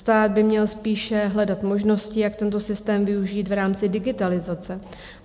Stát by měl spíše hledat možnosti, jak tento systém využít v rámci digitalizace.